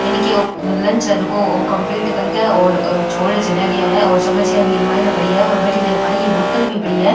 इनके लंच है जेको कम्प्लीट करके और छोड़े चला गया है और चमच्चया भी इरे मायने पड़िया है और भटीने एक पानी की बोतल भी पड़ी है।